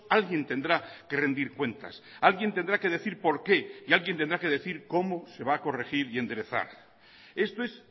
alguien tendrá que rendir cuentas alguien tendrá que decir por qué y alguien tendrá que decir cómo se va a corregir y enderezar esto es